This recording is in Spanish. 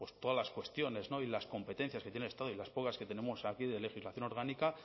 todas las cuestiones y las competencias que tiene el estado y las pocas que tenemos aquí de legislación orgánica